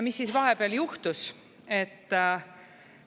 Mis siis vahepeal juhtus?